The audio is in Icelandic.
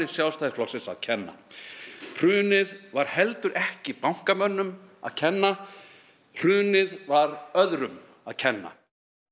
Sjálfstæðisflokksins að kenna hrunið var heldur ekki bankamönnum að kenna hrunið var öðrum að kenna